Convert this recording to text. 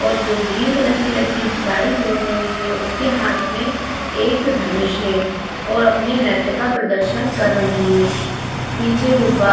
और जो green colour की लड़की है साड़ी पहनी हुई है उसके हाथ में एक धनुष है और अपने नित्य का प्रदर्शन कर रही हैं। पीछे गुब्बारे --